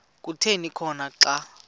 kuthi khona xa